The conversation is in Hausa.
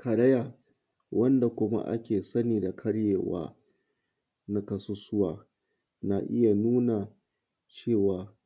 Karaya, wanda kuma ake sani da karyewa na ƙasusuwa na iya nuna cewa